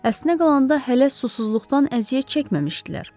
Əslinə qalanda hələ susuzluqdan əziyyət çəkməmişdilər.